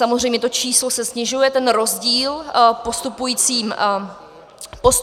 Samozřejmě to číslo se snižuje, ten rozdíl, postupujícím vývojem.